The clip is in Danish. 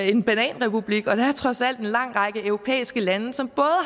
en bananrepublik og der er trods alt en lang række europæiske lande som